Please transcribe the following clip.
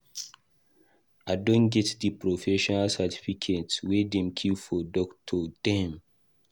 I don get di professional certification wey dem keep for doctor dem.